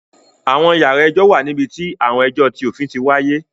Àwọn yàrá ilé-ẹjọ̀ wà níbi tí àwọn ẹjọ ti òfin ti wáyé